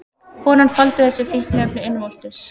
Konan faldi þessi fíkniefni innvortis